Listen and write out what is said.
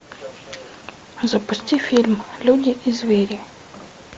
запусти фильм люди и звери